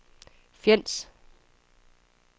Fjends